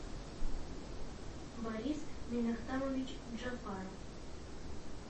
борис минохтамович джафаров